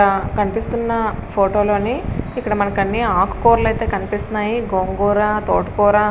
కనిపిస్తున్న ఫోటో లోని ఇక్కడ మనకు అన్నీ ఆకు కూరలు అయితే కనిపిస్తున్నాయి. గోంగూర తోటకూర --